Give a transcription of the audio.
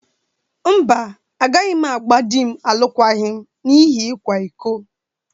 Mba, agaghị m agba di m alụkwaghịm n'ihi ịkwa iko.